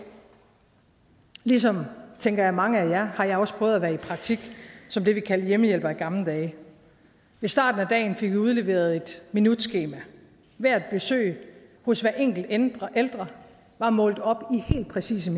ligesom tænker jeg mange af jer har jeg også prøvet at være i praktik som det vi kaldte hjemmehjælper i gamle dage ved starten af dagen fik vi udleveret et minutskema hvert besøg hos hver enkelt ældre ældre var målt op i helt præcise